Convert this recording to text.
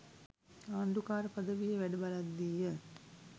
ආණ්ඩුකාර පදවියේ වැඩ බලද්දීය.